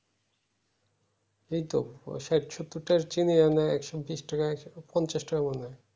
এই তো প্রসাদ চিনি মানে একশো ঊনত্রিশ টাকা একশো পঞ্চাশ টাকা মানে